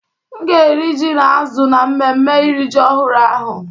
M ga-eri ji na azụ̀ na mmemme iri ji ọhụrụ ahụ.